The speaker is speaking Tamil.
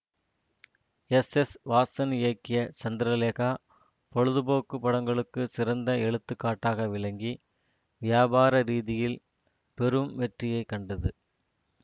எஸ் எஸ் வாசன் இயக்கிய சந்திரலேகா பொழுது போக்கு படங்களுக்கு சிறந்த எடுத்துக்காட்டாக விளங்கி வியாபார ரீதியில் பெரும் வெற்றியை கண்டது